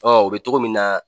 o bɛ cogo min na,